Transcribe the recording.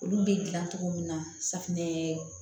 Olu bɛ dilan cogo min na safunɛ